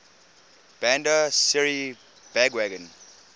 bandar seri begawan